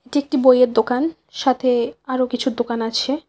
এটি একটি বইয়ের দোকান সাথে আরো কিছু দোকান আছে।